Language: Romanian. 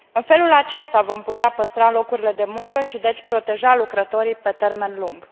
În felul acesta, vom putea păstra locurile de muncă și deci proteja lucrătorii pe termen lung.